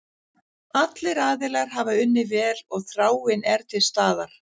Allir aðilar hafa unnið vel og þráin er til staðar.